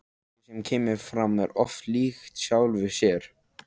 Og fólkið sem kemur fram er oft líkt sjálfu sér.